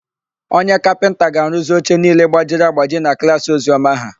Onye kapịnta ga-arụzi oche niile gbajiri agbaji na klaasị Oziọma ha.